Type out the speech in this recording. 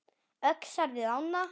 Öxar við ána